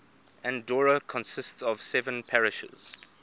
andorra consists of seven parishes